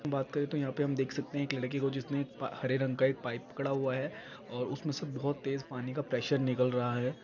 बात करे तो यहाँ पर हम देख सकते हैं कि लड़की को जिसने एक पा हरे रंग का एक पाइप पकड़ा हुआ है और उसमें सब बहुत तेज पानी का प्रेशर निकल रहा है।